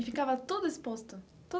E ficava tudo exposto?